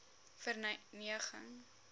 verneging